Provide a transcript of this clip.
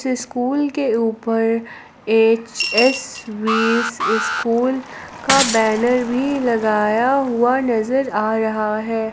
School के ऊपर H S V स स्कूल का बैनर भी लगाया हुआ नजर आ रहा है।